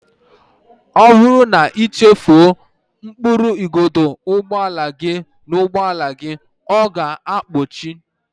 Ọ bụrụ na ị chefuo mkpụrụ igodo ụgbọala gị n'ụgbọala, ọ ga-akpọchi